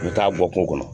U bɛ taa bɔ kungo kɔnɔ